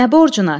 Nə borcuna?